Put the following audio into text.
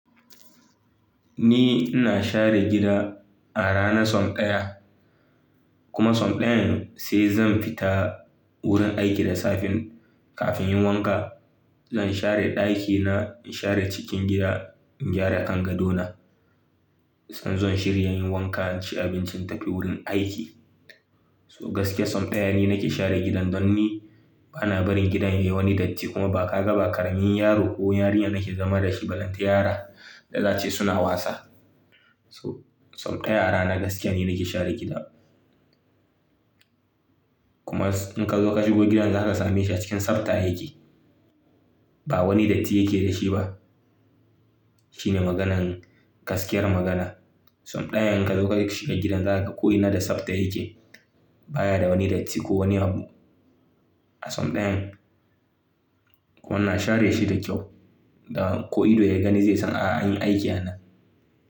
Ni ina share gida a rana sau ɗaya kuma sau ɗayan sai zan fita wurin aiki da safe kafin inyi wanka. Zan share ɗakina, share cikin gida, gyara kangaɗo na. In zo in shiri inyi wanka, inci abinci in tafi wurin aiki. So gaskia sau ɗaya ni nake share gidan don ni bana barin gidan yayi wani datti kuma ba ka ga ba ƙaramin yaro ko yarinya nake zama da shi balanta yara da zace suna wasa. So sau ɗaya a rana gaskiya ni nake share gidan. Kuma in ka zo ka shigo gidan za ka same shi a cikin sabta yake. Ba wani datti yake da shi ba. Shine maganar gaskiyar magana. Sau ɗayan in ka zo ka shiga gidan za ka ko ina da sabta yake. Ba ya da wani datti ko wani habu. A son ɗayan. Ko ina share shi da kyau. Da ko ido ya gani zai san a an yi aiki a nan.